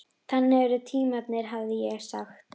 Þannig eru tímarnir, hefði ég sagt.